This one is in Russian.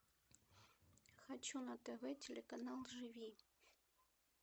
хочу на тв телеканал живи